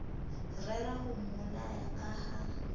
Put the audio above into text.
rera ho mmolaya ka ha